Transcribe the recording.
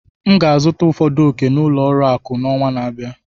M ga-azụta ụfọdụ ọ̀kè n'ụlọ akụ n'ọnwa na-abịa.